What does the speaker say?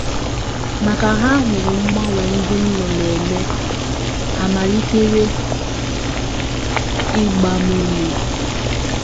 Ma ka ha hụrụ mgbanwe ndị m nọ na - eme, ha malitere ịgba m ume. ”